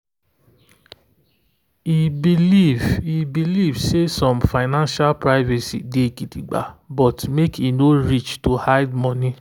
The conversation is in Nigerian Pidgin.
e believe e believe say some financial privacy day gidigba but make e no reach to hide money.